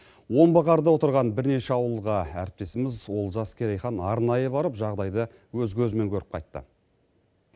омбы қарда отырған бірнеше ауылға әріптесіміз олжас керейхан арнайы барып жағдайды өз көзімен көріп қайтты